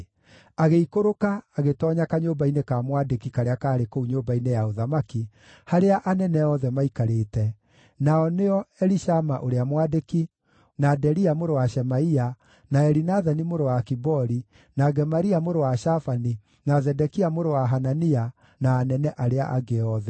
agĩikũrũka agĩtoonya kanyũmba-inĩ ka mwandĩki karĩa kaarĩ kũu nyũmba-inĩ ya ũthamaki, harĩa anene othe maikarĩte, nao nĩo: Elishama ũrĩa mwandĩki, na Delia mũrũ wa Shemaia, na Elinathani mũrũ wa Akibori, na Gemaria mũrũ wa Shafani, na Zedekia mũrũ wa Hanania, na anene arĩa angĩ othe.